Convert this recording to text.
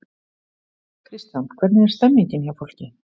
Kristján: Hvernig er stemmningin hjá fólki?